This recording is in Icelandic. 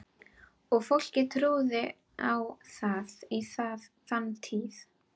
Og fólkið trúði á það, í þann tíð.